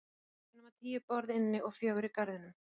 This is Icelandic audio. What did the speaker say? Það voru ekki nema tíu borð inni og fjögur í garðinum.